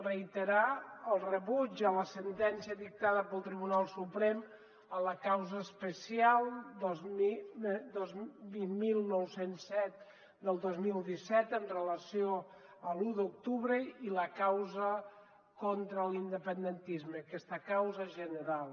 reiterar el rebuig a la sentència dictada pel tribunal suprem a la causa especial vint mil nou cents i set del dos mil disset en relació amb l’u d’octubre i la causa contra l’independentisme aquesta causa general